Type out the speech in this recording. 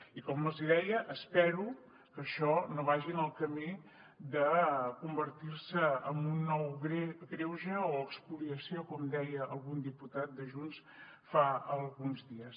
i com els hi deia espero que això no vagi en el camí de convertir se en un nou greuge o espoliació com deia algun diputat de junts fa alguns dies